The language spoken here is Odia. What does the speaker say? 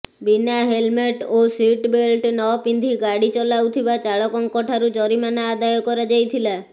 ବିନା ହେଲମେଟ ଓ ସିଟ ବେଲ୍ଟ ନପିନ୍ଧି ଗାଡି ଚଲାଉଥିବା ଚାଳକଙ୍କ ଠାରୁ ଜରିମାନା ଆଦାୟ କରାଯାଇଥିଲା